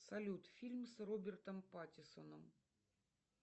салют фильм с робертом паттинсоном